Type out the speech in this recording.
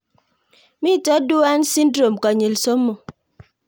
Mito Duane syndrome konyil somok